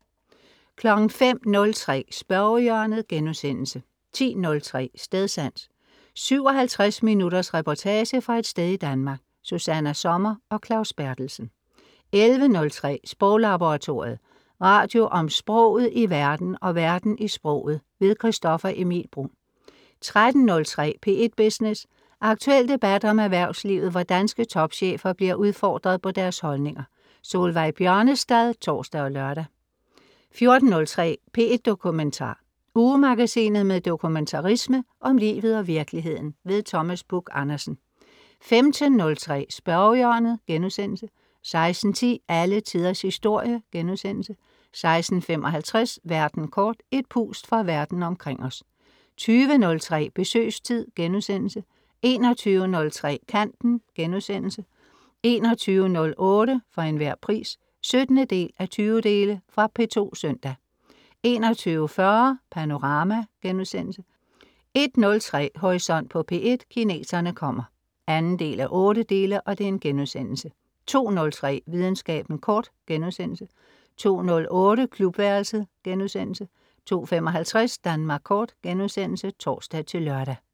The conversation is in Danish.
05.03 Spørgehjørnet* 10.03 Stedsans. 57 minutters reportage fra et sted i Danmark. Susanna Sommer og Claus Berthelsen 11.03 Sproglaboratoriet. Radio om sproget i verden og verden i sproget. Christoffer Emil Bruun 13.03 P1 Business. Aktuel debat om erhvervslivet, hvor danske topchefer bliver udfordret på deres holdninger. Solveig Bjørnestad (tors og lør) 14.03 P1 Dokumentar. Ugemagasinet med dokumentarisme om livet og virkeligheden. Thomas Buch-Andersen 15.03 Spørgehjørnet* 16.10 Alle Tiders Historie* 16.55 Verden kort. Et pust fra Verden omkring os 20.03 Besøgstid* 21.03 Kanten* 21.08 For Enhver Pris 17:20 Fra P2 søndag 21.40 Panorama* 01.03 Horisont på P1: Kineserne kommer 2:8* 02.03 Videnskaben kort* 02.08 Klubværelset* 02.55 Danmark Kort*(tors-lør)